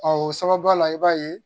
o sababuya la i b'a ye